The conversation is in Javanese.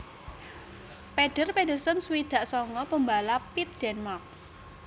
Peder Pedersen swidak sanga pambalap pit Dènmark